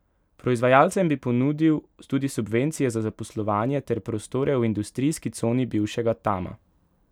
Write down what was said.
Proizvajalcem bi ponudil tudi subvencije za zaposlovanje ter prostore v industrijski coni bivšega Tama.